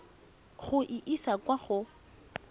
go e isa kwa go